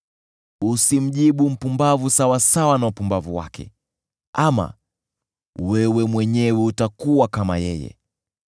Usimjibu mpumbavu sawasawa na upumbavu wake, ama wewe mwenyewe utakuwa kama yeye.